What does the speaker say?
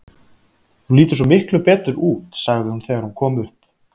Þú lítur svo miklu betur út, sagði hún þegar hún kom upp.